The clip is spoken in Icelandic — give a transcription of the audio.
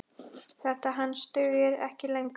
Þetta hangs dugir ekki lengur.